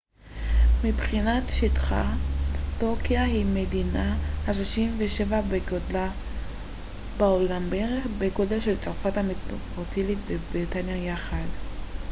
מבחינת שטחה טורקיה היא מדינה ה-37 בגודלה בעולם בערך בגודל של צרפת המטרופוליטנית ובריטניה יחד